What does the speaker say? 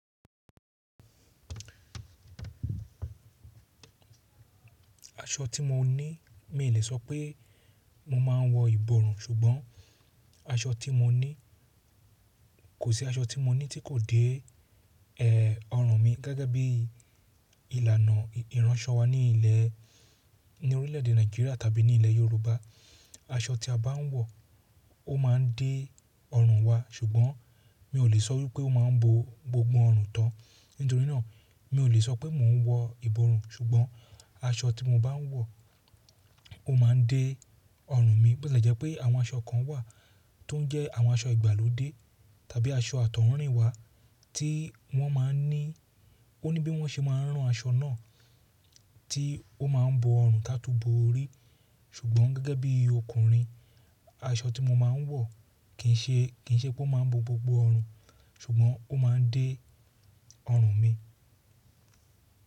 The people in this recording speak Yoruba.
Aṣọ tí mo ní mi ò lè sọ pé mo máa ń wọ ìbọrùn, ṣùgbọ́n aṣọ tí mo ní kò sí aṣọ tí mo ní tí kò dé, ẹ, ọrùn mi. Gẹ́gẹ́ bí ìlànà ìránṣọ wa ní ilẹ̀, ní orílẹ̀ èdè Nàìjíríà tàbí ní ilẹ̀ Yorùbá, aṣọ tí a bá ń wọ, ó máa ń dé ọrùn wa ṣùgbọ́n mi ò lè sọ wípé ó máa ń bo gbogbo ọrùn tán. Nítorí náà, mi ò lè sọ pé mò ń wọ ìbọrùn ṣùgbọ́n aṣọ tí mo bá ń wọ ó máa ń dé ọrùn mi. Bẹ́ẹ̀ tì jẹ́ pé àwọn aṣọ kan wà tó ń jẹ́ àwọn aṣọ ìgbàlódé tàbí aṣọ àtọ̀húnrìnwá tí wọ́n máa ń ní, ó ní bí wọ́n ṣe máa ń rán aṣọ náà tí ó máa ń bo ọrùn táa tú bo orí. Ṣùgbọ́n gẹ́gẹ́ bí ọkùnrin, aṣọ tí mo máa ń wọ kì í ṣe, kì í ṣe pé ó máa ń bo gbogbo ọrùn ṣùgbọ́n ó máa ń dé ọrùn mi.